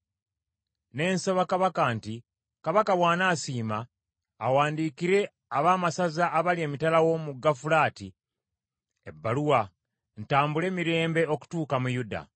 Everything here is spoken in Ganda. Ne nsaba kabaka nti, “Kabaka bw’anaasiima, awandiikire abaamasaza abali emitala w’omugga Fulaati ebbaluwa, ntambule mirembe okutuuka mu Yuda.